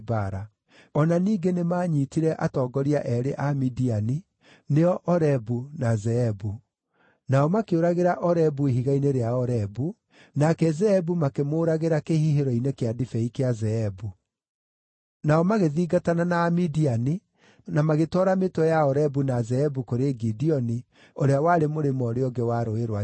O na ningĩ nĩmanyiitire atongoria eerĩ a Midiani, nĩo Orebu na Zeebu. Nao makĩũragĩra Orebu ihiga-inĩ rĩa Orebu, nake Zeebu makĩmũũragĩra kĩhihĩro-inĩ kĩa ndibei kĩa Zeebu. Nao magĩthingatana na Amidiani, na magĩtwara mĩtwe ya Orebu na Zeebu kũrĩ Gideoni, ũrĩa warĩ mũrĩmo ũrĩa ũngĩ wa Rũũĩ rwa Jorodani.